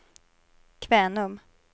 Kvänum